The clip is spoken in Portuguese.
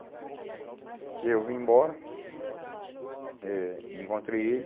E aí eu vim embora eh e encontrei ele.